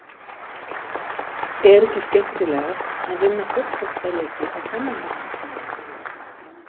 Er ekki skemmtilegast að vinna fótboltaleiki á þennan hátt?